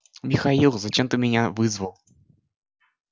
михаил зачем ты меня вызвал